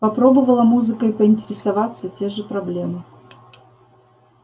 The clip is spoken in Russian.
попробовала музыкой поинтересоваться те же проблемы